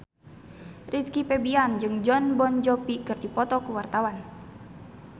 Rizky Febian jeung Jon Bon Jovi keur dipoto ku wartawan